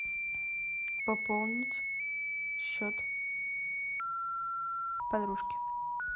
пополнить счет подружки